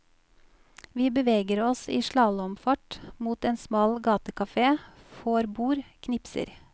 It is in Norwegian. Vi beveger oss i slalåmfart mot en smal gatekafé, får bord, knipser.